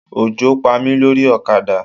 Òjò Pa mí lórí ọ̀kadà.